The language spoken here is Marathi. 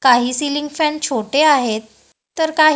काही सिलिंग फॅन छोटे आहेत तर का --